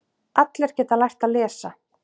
Allir geta lært að lesa.